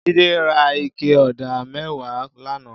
Jide rà iké ọ̀dá mẹ̀wá làná